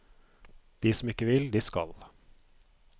De som ikke vil, de skal.